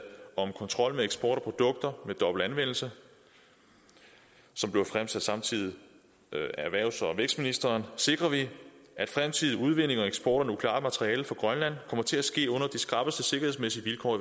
om kontrol med eksport af produkter med dobbelt anvendelse som bliver fremsat samtidig af erhvervs og vækstministeren sikrer vi at fremtidig udvinding og eksport af nukleart materiale fra grønland kommer til at ske under de skrappeste sikkerhedsmæssige vilkår